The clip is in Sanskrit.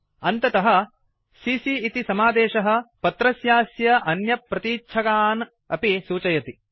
अन्ततः सीसी इति समादेशः पत्रस्यास्य अन्यप्रतीच्छकान् अपि सूचयति